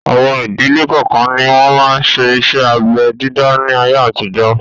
Àwọn ìdílé kọọ́kan ni wọn máa ń ṣe iṣẹ́ abẹ dídá ni ayé àtijọ́